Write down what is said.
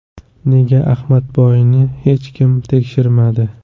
Nega Ahmadboyni hech kim tekshirmadi?”.